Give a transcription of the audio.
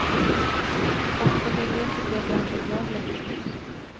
Och familjen tycker att jag inte är glad längre.